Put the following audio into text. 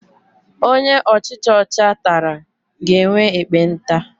Onye ọchicha ọcha tara ga-enwe ekpenta.